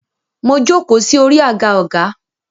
Mo jókòó sí orí àga ọgá.